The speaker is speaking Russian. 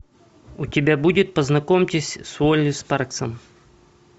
у тебя будет познакомьтесь с уолли спарксом